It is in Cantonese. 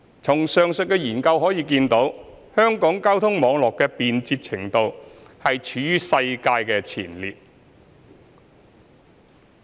從上述研究可見，香港交通網絡的便捷程度處於世界前列。